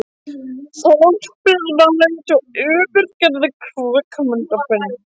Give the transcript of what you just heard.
Þorpið var eins og yfirgefið kvikmyndaver.